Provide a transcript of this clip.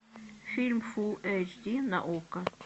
фильм фул эйч ди на окко